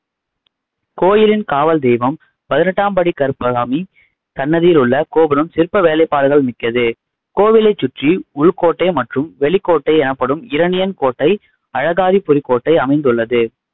கோயிலின் காவல் தெய்வம் பதினெட்டாம்படி கருப்பசாமி சன்னதியில் உள்ள கோபுரம் சிற்ப வேலைப்பாடுகள் மிக்கது கோவிலைச் சுற்றி உள்கோட்டை மற்றும் வெளிக்கோட்டை எனப்படும் இரணியன் கோட்டை, அழகாரிபுரிக் கோட்டை அமைந்துள்ளது